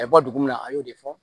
A bɛ bɔ dugu min na a y'o de fɔ